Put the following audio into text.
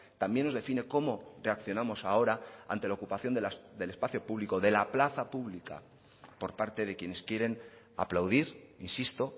también nos define cómo reaccionamos ahora ante la ocupación del espacio público de la plaza pública por parte de quienes quieren aplaudir insisto